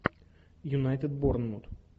юнайтед борнмут